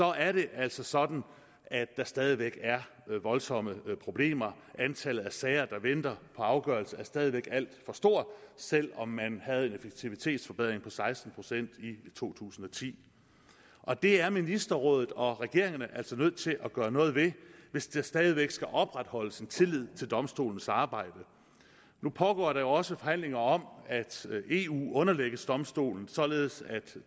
er det altså sådan at der stadig væk er voldsomme problemer antallet af sager der venter på afgørelse er stadig væk alt for stort selv om man havde en effektivitetsforbedring på seksten procent i to tusind og ti og det er ministerrådet og regeringerne altså nødt til at gøre noget ved hvis der stadig væk skal opretholdes en tillid til domstolens arbejde nu pågår der jo også forhandlinger om at eu underlægges domstolen således at